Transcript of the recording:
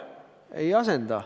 Ei asenda.